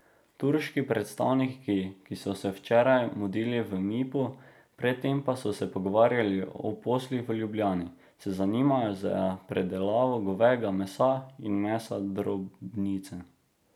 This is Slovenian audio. Turški predstavniki, ki so se včeraj mudili v Mipu, pred tem pa so se pogovarjali o poslih v Ljubljani, se zanimajo za predelavo govejega mesa in mesa drobnice.